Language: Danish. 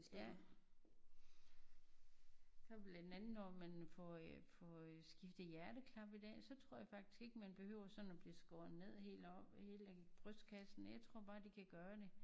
Ja for blandt andet når man får øh får øh skiftet hjerteklappe i dag så tror jeg faktisk ikke man behøver sådan at blive skåret ned helt heroppe helt hele brystkassen jeg tror bare de kan gøre det